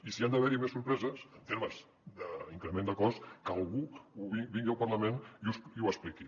i si hi han d’haver més sorpreses en termes d’increment de cost que algú vingui al parlament i ho expliqui